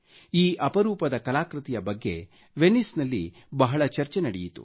ಈ ಅಪರೂಪದ ಕಲಾಕೃತಿಯ ಬಗ್ಗೆ ವಿನಿಸ್ನಲ್ಲಿ ಬಹಳ ಚರ್ಚೆ ನಡೆಯಿತು